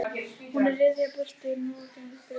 Hún er að ryðja burtu moldarhaugum og stóru grjóti.